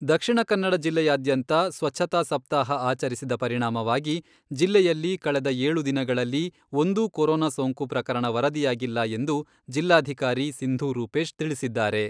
ದಕ್ಷಿಣ ಕನ್ನಡ ಜಿಲ್ಲೆಯಾದ್ಯಂತ ಸ್ವಚ್ಛತಾ ಸಪ್ತಾಹ ಆಚರಿಸಿದ ಪರಿಣಾಮವಾಗಿ ಜಿಲ್ಲೆಯಲ್ಲಿ ಕಳೆದ ಏಳು ದಿನಗಳಲ್ಲಿ ಒಂದೂ ಕೊರೊನಾ ಸೋಂಕು ಪ್ರಕರಣ ವರದಿಯಾಗಿಲ್ಲ ಎಂದು ಜಿಲ್ಲಾಧಿಕಾರಿ ಸಿಂಧೂ ರೂಪೇಶ್ ತಿಳಿಸಿದ್ದಾರೆ.